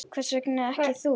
Hvers vegna ekki þú?